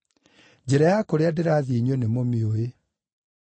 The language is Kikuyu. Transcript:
Njĩra ya kũrĩa ndĩrathiĩ inyuĩ nĩmũmĩũĩ.”